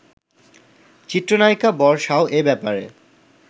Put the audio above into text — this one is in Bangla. চিত্রনায়িকা বর্ষাও এ ব্যাপারে